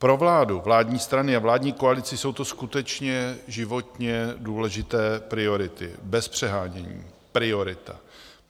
Pro vládu, vládní strany a vládní koalici jsou to skutečně životně důležité priority, bez přehánění priorita.